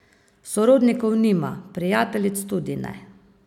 Sorodnikov nima, prijateljic tudi ne.